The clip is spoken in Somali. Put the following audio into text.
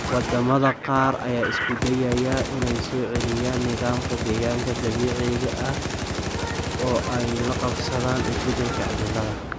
Wadamada qaar ayaa isku dayaya inay soo celiyaan nidaamka deegaanka dabiiciga ah oo ay la qabsadaan isbedelka cimilada.